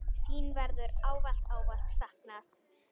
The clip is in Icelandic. Þín verður ávallt, ávallt saknað.